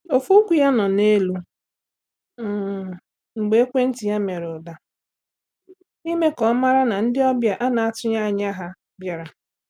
Ofu ụkwụ ya nọ n'elu um mgbe ekwentị ya mere ụda, i me ka o mara na ndị ọbịa a na atughi anya ha biara